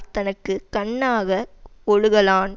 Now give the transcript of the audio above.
தனக்கு கண்ணாக வொழுகலான்